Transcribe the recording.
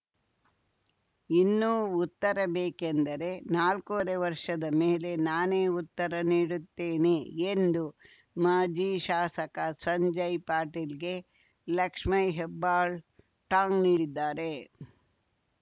ಇನ್ನೂ ಉತ್ತರ ಬೇಕೆಂದರೆ ನಾಲ್ಕೂವರೆ ವರ್ಷದ ಮೇಲೆ ನಾನೇ ಉತ್ತರ ನೀಡುತ್ತೇನೆ ಎಂದು ಮಾಜಿ ಶಾಸಕ ಸಂಜಯ್‌ ಪಾಟೀಲ್‌ಗೆ ಲಕ್ಷ್ಮೇ ಹೆಬ್ಬಾಳ್ ಟಾಂಗ್‌ ನೀಡಿದ್ದಾರೆ